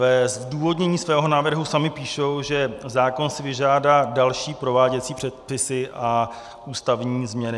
Ve zdůvodnění svého návrhu sami píšou, že zákon si vyžádá další prováděcí předpisy a ústavní změny.